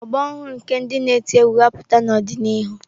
Ọgbọ ọhụrụ nke ndị na eti egwú ga-apụta n'ọdịnihu.